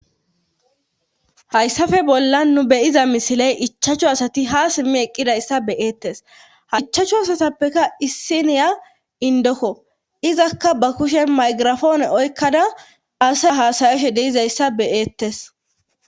Hayssafe bollan nu beyiza misiley ichachchu asati hasimmi eqqidayssa beyeettes haichachchu asatappeka issi niya indokko izakka bakushe maygirafoone oykkada ase haasayeshe deizayssa beyeettes.